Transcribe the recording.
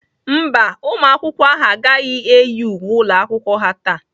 Mba, ụmụ akwụkwọ ahụ agaghị eyi uwe ụlọ akwụkwọ ha taa.